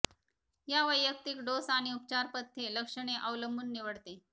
या वैयक्तिक डोस आणि उपचार पथ्ये लक्षणे अवलंबून निवडते